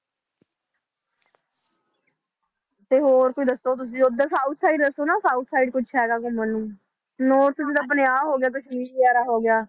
ਤੇ ਹੋਰ ਕੋਈ ਦੱਸੋ ਤੁਸੀਂ ਉੱਧਰ south side ਦੱਸੋ ਨਾ south side ਕੁਛ ਹੈਗਾ ਘੁੰਮਣ ਨੂੰ north ਵਿੱਚ ਆਪਣੇ ਆਹ ਹੋ ਗਿਆ ਵਗ਼ੈਰਾ ਹੋ ਗਿਆ